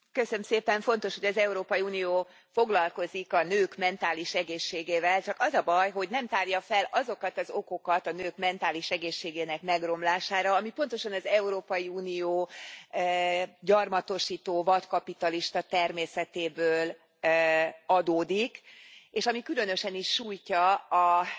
Elnök Úr, fontos, hogy az Európai Unió foglalkozik a nők mentális egészségével, csak az a baj, hogy nem tárja fel azokat az okokat a nők mentális egészségének megromlására, ami pontosan az Európai Unió gyarmatosító, vadkapitalista természetéből adódik, és ami különösen is sújtja az